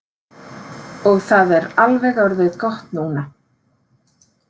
Og það er alveg orðið gott núna.